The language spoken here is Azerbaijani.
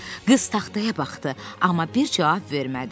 Qız taxtaya baxdı, amma bir cavab vermədi.